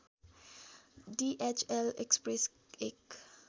DHL express एक